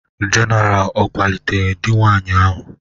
General o kwalitere di nwanyị ahụ?